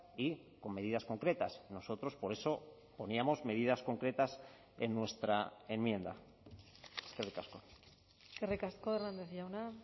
y con medidas concretas nosotros por eso poníamos medidas concretas en nuestra enmienda eskerrik asko eskerrik asko hernández jauna